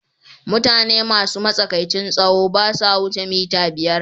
Mutane masu matsakaicin tsawo ba sa wuce mita biyar.